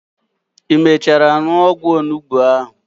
I mechara nuo ogwu onugbu ahu?